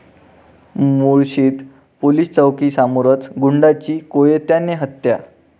मुळशीत police चौकीसमोरच गुंडाची कोयत्याने हत्या!